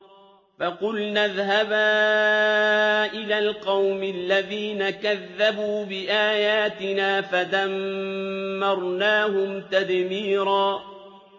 فَقُلْنَا اذْهَبَا إِلَى الْقَوْمِ الَّذِينَ كَذَّبُوا بِآيَاتِنَا فَدَمَّرْنَاهُمْ تَدْمِيرًا